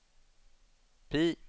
PIE